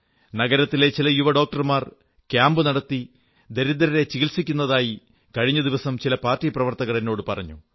നഗരത്തിലെ ചില യുവഡോക്ടർമാർ ക്യാമ്പുനടത്തി ദരിദ്രരെ ചികിത്സിക്കുന്നതായി കഴിഞ്ഞ ദിവസം ചില പാർട്ടി പ്രവർത്തകർ എന്നോടു പറഞ്ഞു